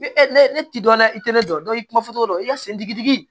Ni e ne ne ti dɔ la i tɛ ne dɔn i kuma fɔ cogo dɔn i ka sen digi digi